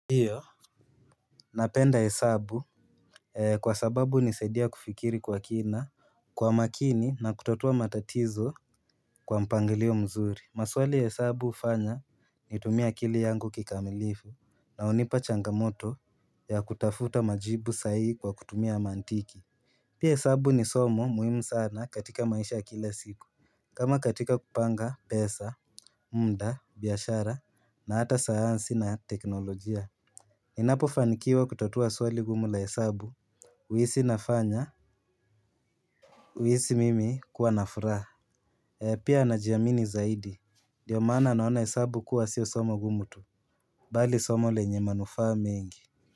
Napenda hesabu kwa sababu hunisaidia kufikiri kwa kina kwa makini na kutatua matatizo kwa mpangilio mzuri. Maswali hesabu hufanya nitumie akili yangu kikamilifu na hunipa changamoto ya kutafuta majibu sahihi kwa kutumia mantiki. Pia hesabu ni somo muhimu sana katika maisha ya kila siku kama katika kupanga pesa, muda, biashara na ata sayansi na teknolojia. Ninapofanikiwa kutatua swali gumu la hesabu huisi kuwa na furaha. Pia najiamini zaidi ndiyo maana naona hesabu kuwa siyo somo gumu tu. Bali somo lenye manufa mengi.